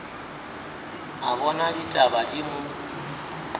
a bona ditaba di mo